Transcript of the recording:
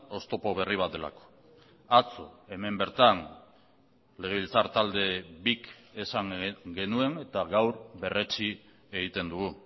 oztopo berri bat delako atzo hemen bertan legebiltzar talde bik esan genuen eta gaur berretsi egiten dugu